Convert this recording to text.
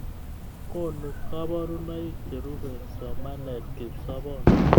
Konu koborunaik cherube somanet kipsobon